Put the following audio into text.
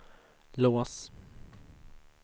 lås